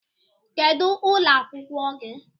Kedu ụlọ akwụkwọ gị?